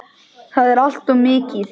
Það er allt of mikið.